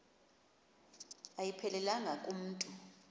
ayiphelelanga ku mntu